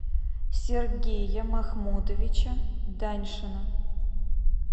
сергея махмудовича даньшина